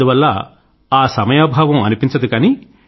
అందువల్ల ఆ సమయాభావం అనిపించదు